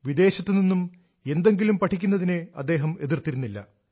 വിദേശത്തു നിന്നും എന്തെങ്കിലും പഠിക്കുന്നതിനെ അദ്ദേഹം എതിർത്തിരുന്നില്ല